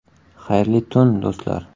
Xayrli tun, do‘stlar.